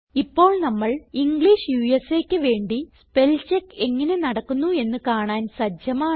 ഇപ്പോൾ നമ്മൾ ഇംഗ്ലിഷ് USAക്ക് വേണ്ടി സ്പെൽചെക്ക് എങ്ങനെ നടക്കുന്നു എന്ന് കാണാൻ സജ്ജമാണ്